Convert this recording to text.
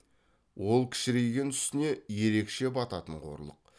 ол кішірейген үстіне ерекше бататын қорлық